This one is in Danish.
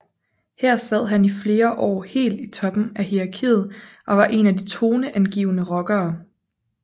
Her sad han i flere år helt i toppen af hierarkiet og var en af de toneangivende rockere